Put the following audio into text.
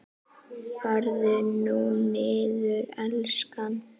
Farðu nú niður, elskan.